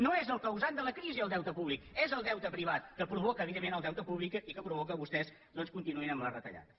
no és el causant de la crisi el deute públic és el deute privat que provoca evidentment el deute públic i que provoca que vostès doncs continuïn amb les retallades